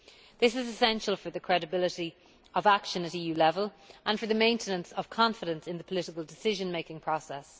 This is essential for the credibility of action at EU level and for the maintenance of confidence in the political decision making process.